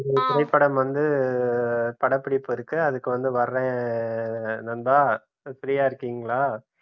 இந்த திரைப்படம் வந்த படப்பிடிப்பு இருக்கு அதுக்கு வந்து வரேன் நண்பா நீங்க free யா இருக்கீங்களா